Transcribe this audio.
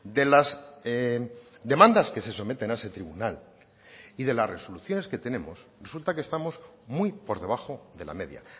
de las demandas que se someten a ese tribunal y de las resoluciones que tenemos resulta que estamos muy por debajo de la media